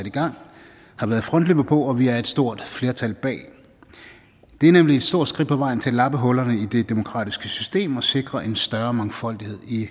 i gang har været frontløbere på og vi er et stort flertal bag det er nemlig et stort skridt på vejen til at lappe hullerne i det demokratiske system og sikre en større mangfoldighed i